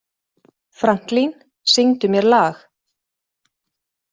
Franklín, syngdu mér lag.